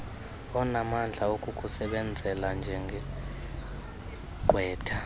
onamandla okukusebenzela njengegqwetha